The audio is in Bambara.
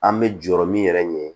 An bɛ jɔrɔ min yɛrɛ ɲini